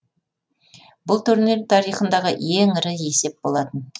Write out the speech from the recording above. бұл турнир тарихындағы ең ірі есеп болатын